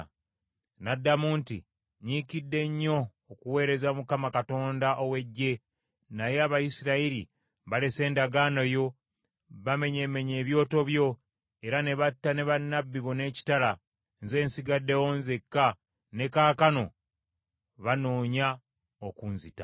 N’addamu nti, “Nyiikidde nnyo okuweereza Mukama Katonda ow’Eggye, naye Abayisirayiri balese endagaano yo, bamenyeemenye ebyoto byo, era ne batta ne bannabbi bo n’ekitala. Nze nsigaddewo nzeka, ne kaakano bannoonya okunzita.”